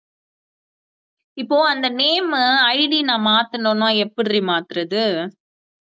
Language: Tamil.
இப்போ அந்த name மு ID நான் மாத்தணும்னா எப்படிடி மாத்துறது